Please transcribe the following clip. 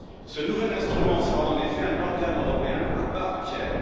Ce nouvel instrument sera en effet un organe européen à part entière.